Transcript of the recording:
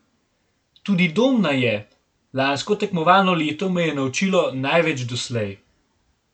Tudi Domna je: "Lansko tekmovalno leto me je naučilo največ doslej.